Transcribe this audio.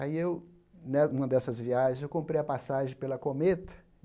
Aí eu né, em uma dessas viagens, eu comprei a passagem pela Cometa.